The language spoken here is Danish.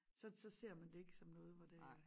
Så så ser man det ikke som noget hvor det er